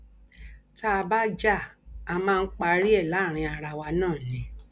tá a bá já a máa ń parí ẹ láàrin ara wa náà ni